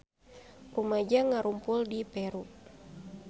Rumaja ngarumpul di Peru